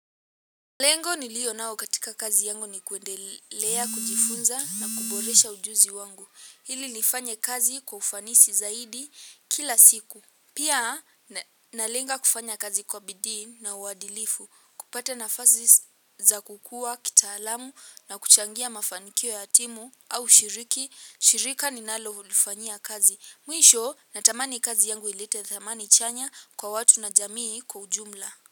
Lengo nilio nao katika kazi yangu ni kuendelea, kujifunza na kuboresha ujuzi wangu. Ili nifanye kazi kwa ufanisi zaidi kila siku. Pia nalenga kufanya kazi kwa bidii na uadilifu. Kupata nafasi za kukua, kitaalamu na kuchangia mafanikio ya timu au shiriki. Shirika ninalolifanya kazi. Mwisho natamani kazi yangu ilite thamani chanya kwa watu na jamii kwa ujumla.